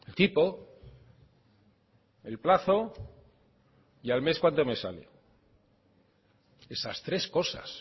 tipo el plazo y al mes cuánto me sale esas tres cosas